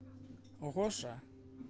гоша